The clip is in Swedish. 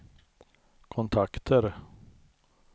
kontakter